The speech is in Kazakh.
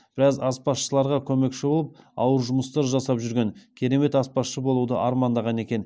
біраз аспазшыларға көмекші болып ауыр жұмыстар жасап жүрген керемет аспазшы болуды армандаған екен